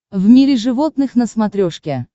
в мире животных на смотрешке